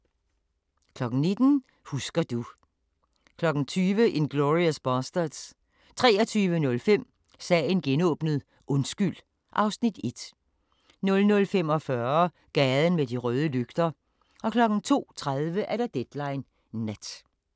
19:00: Husker du ... 20:00: Inglourious Basterds 23:05: Sagen genåbnet: Undskyld (Afs. 1) 00:45: Gaden med de røde lygter 02:30: Deadline Nat